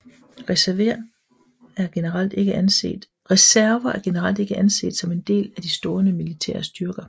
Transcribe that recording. Reserver er generelt ikke anset som en del af de stående militære styrker